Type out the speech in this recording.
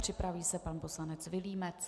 Připraví se pan poslanec Vilímec.